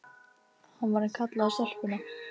Hann var að kalla á stelpuna.